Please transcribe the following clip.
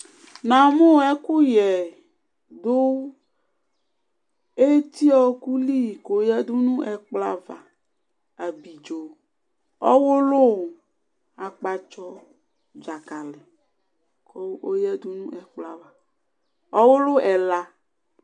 Na mu ɛkuyɛ kɔdu eti wɔkuli kɔyadu nu ɛkplɔ ava Ablidzo ɔwulu akpatsɔ dzakali ɔyadu nu ɛkplɔ ava Ɔwulu ɛla